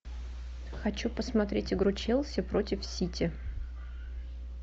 хочу посмотреть игру челси против сити